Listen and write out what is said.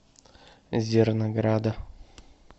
зернограда